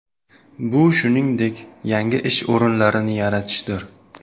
Bu shuningdek, yangi ish o‘rinlarini yaratishdir.